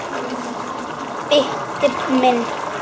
Baddi minn.